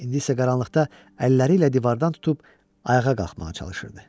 İndi isə qaranlıqda əlləri ilə divardan tutub ayağa qalxmağa çalışırdı.